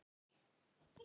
Eins lengi og ég gat.